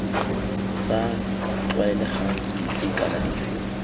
sa tlwaelegang dife kana dife